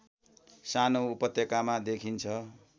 सानो उपत्यकामा देखिन्छ